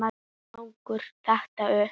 Þannig gengur þetta upp.